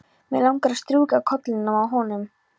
Mig langar að strjúka kollinum á honum.